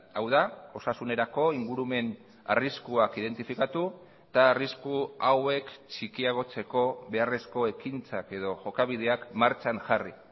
hau da osasunerako ingurumen arriskuak identifikatu eta arrisku hauek txikiagotzeko beharrezko ekintzak edo jokabideak martxan jarri